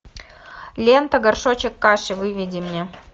лента горшочек каши выведи мне